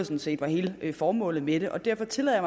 set var hele formålet med det og derfor tillader